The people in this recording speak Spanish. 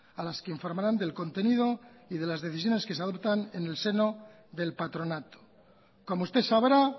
a las que informarán del contenido y de las decisiones que se adoptan en el seno del patronato como usted sabrá